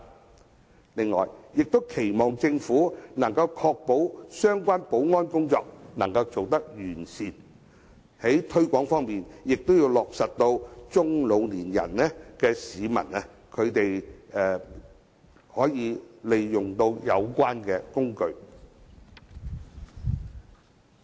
此外，我亦期望政府可以確保相關保安工作做得完善。在推廣方面，亦要讓中老年市民也可利用有關工具。